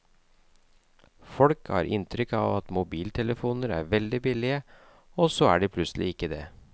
Folk har inntrykk av at mobiltelefoner er veldig billige, og så er de plutselig ikke det.